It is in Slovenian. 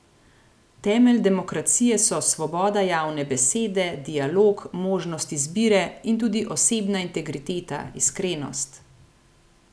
Temelj demokracije so svoboda javne besede, dialog, možnost izbire in tudi osebna integriteta, iskrenost.